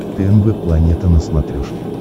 тнв планета на смотрешке